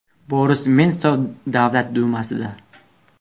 Boris Nemsov Davlat dumasida.